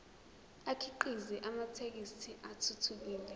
akhiqize amathekisthi athuthukile